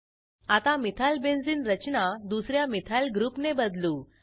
आता मिथाइलबेन्झीन रचना दुस या मिथाइल ग्रुपने बदलू